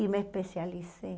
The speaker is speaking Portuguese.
E me especializei.